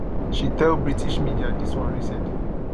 she tell british media dis one recently